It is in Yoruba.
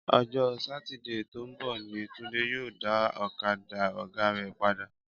Ọjọ́ Satide tó ń bọ̀ ni Túndé yóò dá ọ̀kadà ọ̀gá rẹ̀ padà